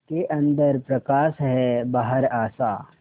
उसके अंदर प्रकाश है बाहर आशा